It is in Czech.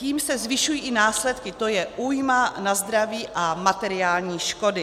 Tím se zvyšují i následky, to je újma na zdraví a materiální škody.